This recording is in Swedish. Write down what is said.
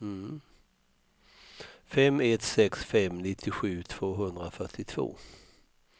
fem ett sex fem nittiosju tvåhundrafyrtiotvå